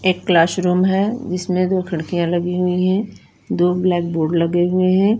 एक क्लासरूम है जिसमे दो खिड़किया लगी हुई है दो ब्लैक बोर्ड लगे हुए है।